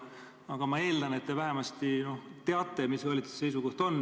Aga ma eeldan, et te vähemasti teate, mis valitsuse seisukoht on.